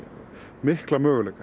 mikla möguleika